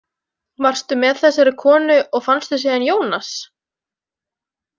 Varstu með þessari konu og fannstu síðan Ionas?